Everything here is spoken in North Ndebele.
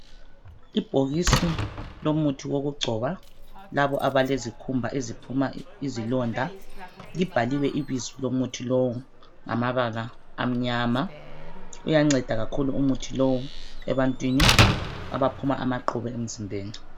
Ibhokisi lomuthi wokugcoba labo abalezikhumba eziphuma izilonda libhaliwe ibizo lomuthi lowu ngamabala amnyama uyanceda kakhulu umuthi lowu ebantwini abaphuma amaqhubu emzimbeni.